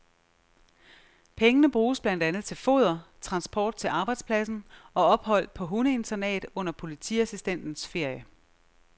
Pengene bruges blandt andet til foder, transport til arbejdspladsen og ophold på hundeinternat under politiassistentens ferie.